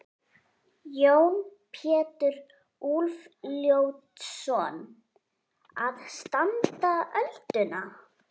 Jón Pétur Úlfljótsson: Að standa ölduna?